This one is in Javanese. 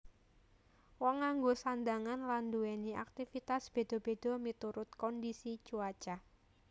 Wong nganggo sandhangan lan nduwèni aktivitas béda béda miturut kondisi cuaca